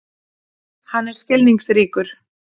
Hann er skilningsríkur.